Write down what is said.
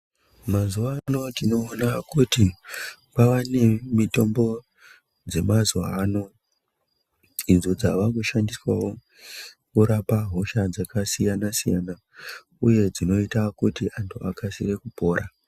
Mazuva ano tinoona kuti kwavane mitombo dzemazuva ano idzo dzavakushandiswa wokurapa hosha dzakasiyana-siyana uye dzinoite kuti anhu akasire kupora.